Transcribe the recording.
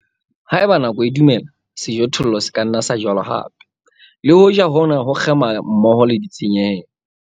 Ha eba nako e dumela, sejothollo se ka nna sa jalwa hape, le hoja hona ho kgema mmoho le ditshenyehelo.